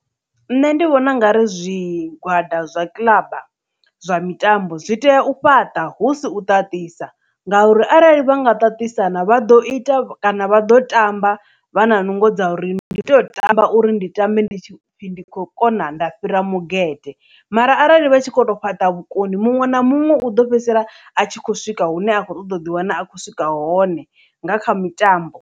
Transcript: Nṋe ndi vhona ungari zwigwada zwa kiḽaba zwa mitambo zwi tea u fhaṱa husi u ṱaṱisana ngauri arali vha nga ṱaṱisana vha ḓo ita kana vha ḓo tamba vha na nungo dza uri ni ndi tea u tamba uri ndi tambe ndi khou kona nda fhira mugede mara arali vha tshi kho to fhaṱa vhukoni muṅwe na muṅwe u ḓo fhedzisela a tshi kho swika hune a khou ṱoḓa u ḓi wana a khou swika hone nga kha mitambo.